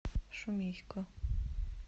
шумейко